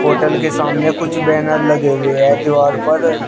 Hotel के सामने कुछ बैनर लगे हुए है दीवार पर।